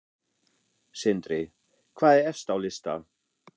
Sindri: Hvað er efst á lista?